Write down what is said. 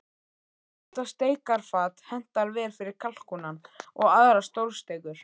Þetta steikarfat hentar vel fyrir kalkúnann og aðrar stórsteikur.